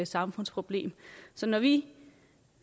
samfundsproblem så når vi